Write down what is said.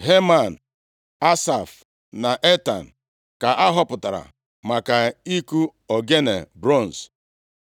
Heman, Asaf na Etan ka a họpụtara maka ịkụ ogene bronz.